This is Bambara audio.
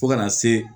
Fo kana se